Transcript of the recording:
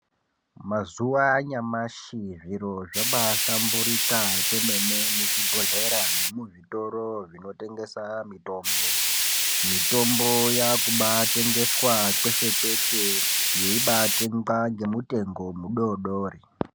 Mazuwa anyamashi zviro zvabaahlamburika kwemene muzvibhedhlera nemuzvitoro zvinotengesa mutombo. Mitombo yakubaatengeswa kweshe kweshe yeibatengwa ngemutengo mudodori.